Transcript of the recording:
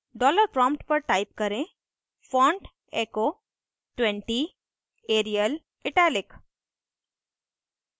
dollar prompt पर type करें font echo 20 arial italic